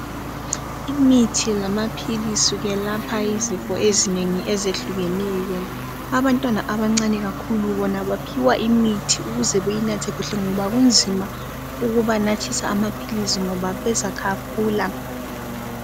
Imithi lamaphilisi kwelapha izifo ezinengi ezehlukeneyo. Abantwana abancane kakhulu, bona baphiwa imithi ukuze beyinathe kuhle, ngoba kunzima ukubanathisa amaphilisi, ngoba bezakhafula.